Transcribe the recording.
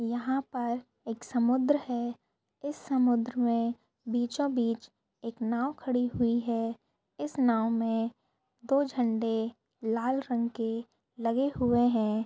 यहा पर एक समुद्र है इस समुद्र मे बीचों बीच एक नाव खड़ी हुई है इस नाव मे दो झंडे लाल रंग के लगे हुए है।